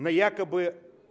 но якобы